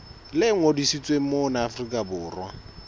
le ngodisitsweng mona afrika borwa